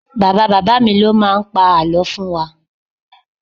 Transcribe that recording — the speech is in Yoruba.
Bàbá bàbá mi ló máa ń pa àlọ́ fún wa